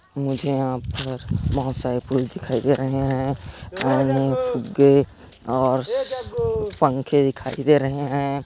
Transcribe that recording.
मुझे यहाँ पर बहुत सारे फूल दिखाई दे रहे है अम्मम्म फुग्गे और पंखे दिखाई दे रहे है।